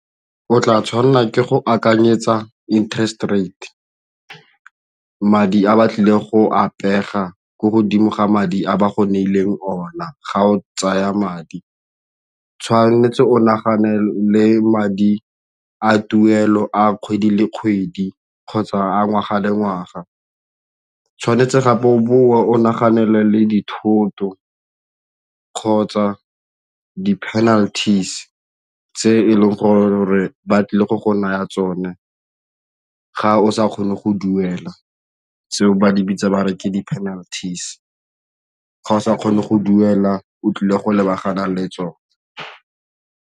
O tla tshwanela ke go akanyetsa interest rate, madi a ba tlile go a pega ko godimo ga madi a ba go neileng o na ga o tsaya madi. Tshwanetse o nagane le madi a tuelo a kgwedi le kgwedi kgotsa ngwaga le ngwaga, tshwanetse o boe o nagane le dithoto ka kgotsa di-penalties tse e leng gore ba tlile go naya tsone ga o sa kgone go duela seo ba se bitsang ba re ke di-penalties, ga o sa kgone go duela o tlile go lebagana le tsona.